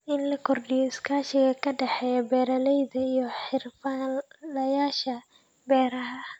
In la kordhiyo iskaashiga ka dhexeeya beeralayda iyo xirfadlayaasha beeraha.